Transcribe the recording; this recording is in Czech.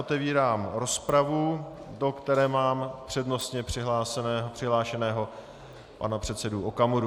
Otevírám rozpravu, do které mám přednostně přihlášeného pana předsedu Okamuru.